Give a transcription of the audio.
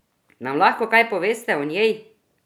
Nam lahko kaj poveste o njej?